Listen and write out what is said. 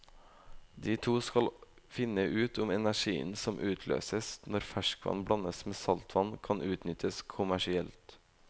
De to skal finne ut om den energien som utløses når ferskvann blandes med saltvann, kan utnyttes kommersielt.